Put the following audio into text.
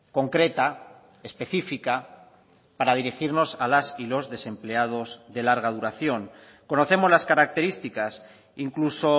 concreta especifica para dirigirnos a las y los desempleados de larga duración conocemos las características incluso